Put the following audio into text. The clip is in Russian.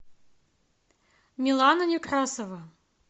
милана некрасова